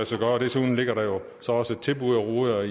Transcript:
sig gøre desuden ligger der så også et tilbud og roder